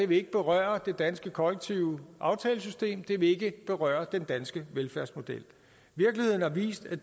vil ikke berøre det danske kollektive aftalesystem det vil ikke berøre den danske velfærdsmodel virkeligheden har vist at